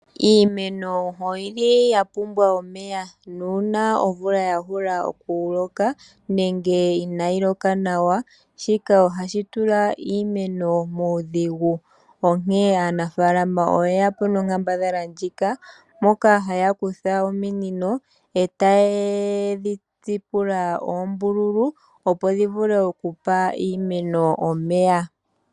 Iimeno oyili ya pumbwa omeya nuuna omvula yaloka nenge inaayi loka nawa shika ohashi tula iimeno muudhigu. Onkene aanafaalama oye yapo nonkambadhala ndjika moka haya kutha ominino etaye dhi tsipula oombululu opo yavule okupa iimeno omeya.